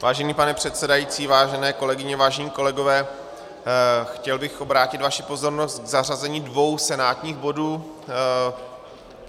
Vážený pane předsedající, vážené kolegyně, vážení kolegové, chtěl bych obrátit vaši pozornost k zařazení dvou senátních bodů.